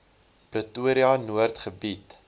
pretoria noord gebied